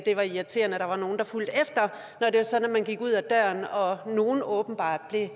var irriterende at der var nogle der fulgte efter når man gik ud af døren og at nogle åbenbart blev